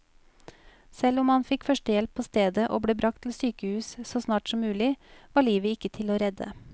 Selv om han fikk førstehjelp på stedet og ble bragt til sykehus så snart som mulig, var livet ikke til å redde.